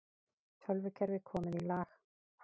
Tölvukerfi komið í lag